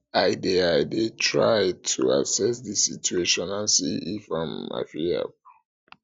i dey i dey try to assess di situation and see if um i fit help